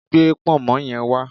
Gbé pọ̀nmọ́ yen wá